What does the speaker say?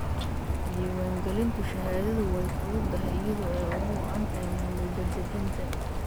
Diiwaangelinta shahaadadu way fududaatay iyadoo ay ugu wacan tahay maamul-daadejinta.